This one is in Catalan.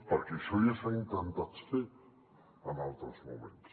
perquè això ja s’ha intentat fer en altres moments